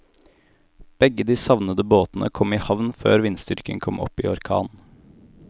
Begge de savnede båtene kom i havn før vindstyrken kom opp i orkan.